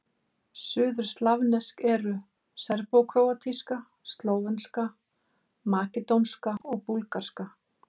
Suðurslavnesk eru: serbókróatíska, slóvenska, makedónska og búlgarska.